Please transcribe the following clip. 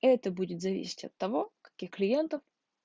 это будет зависеть от того какие клиенты